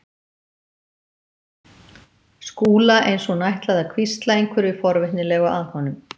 Skúla eins og hún ætlaði að hvísla einhverju forvitnilegu að honum.